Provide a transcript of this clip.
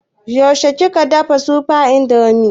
Yaushe kika dafa supreme indomie?